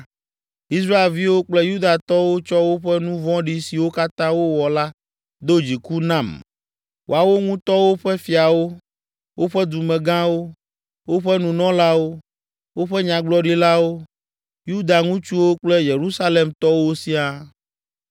Israelviwo kple Yudatɔwo tsɔ woƒe nu vɔ̃ɖi siwo katã wowɔ la do dziku nam, woawo ŋutɔwo ƒe fiawo, woƒe dumegãwo, woƒe nunɔlawo, woƒe nyagblɔɖilawo, Yuda ŋutsuwo kple Yerusalemtɔwo siaa.